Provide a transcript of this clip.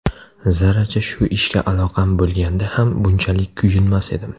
Zarracha shu ishga aloqam bo‘lganda ham bunchalik kuyinmas edim.